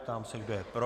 Ptám se, kdo je pro?